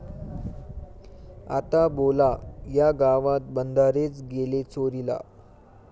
आता बोला.., या गावात बंधारेच गेले चोरीला!